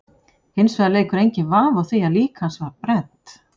Hins vegar leikur enginn vafi á því að lík hans var brennt.